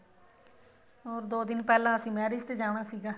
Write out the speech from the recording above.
ਹੋਰ ਦੋ ਦਿਨ ਪਹਿਲਾਂ ਅਸੀਂ marriage ਤੇ ਜਾਣਾ ਸੀਗਾ